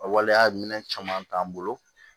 A waleya minɛn caman t'an bolo